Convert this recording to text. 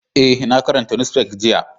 Eh, na karanta nusfefan jiya.